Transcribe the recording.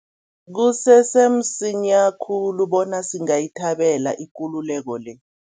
Kusese msinya khulu bona singayithabela ikululeko le.